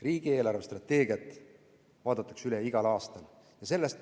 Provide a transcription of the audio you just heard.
Riigi eelarvestrateegia vaadatakse üle igal aastal.